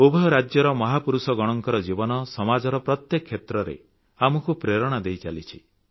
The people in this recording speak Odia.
ଉଭୟ ରାଜ୍ୟର ମହାପୁରୁଷଗଣଙ୍କ ଜୀବନ ସମାଜର ପ୍ରତ୍ୟେକ କ୍ଷେତ୍ରରେ ଆମକୁ ପ୍ରେରଣା ଦେଇଚାଲିଛି